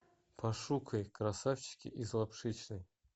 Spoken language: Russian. пошукай красавчики из лапшичной